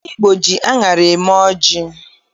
Ndị Igbo ji aṅara eme ọjị